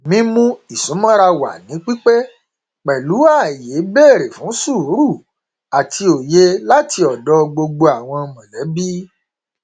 mímú ìsúnmọra wà ní pípé pẹlú ààyè bèrè fún sùúrù àti òye láti ọdọ gbogbo àwọn mọlẹbí